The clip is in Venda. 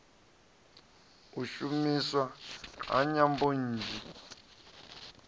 u shumiswa ha nyambo nnzhi